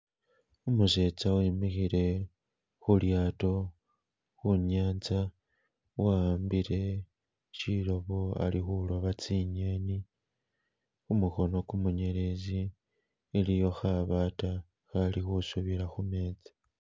Umusetsa wemikhile khulyato, khunyanza wa'ambile shilobo ali khuloba tsi'ngeni, khumukhono ku munyeletsi iliyo khabata khali khu subila khu metsi.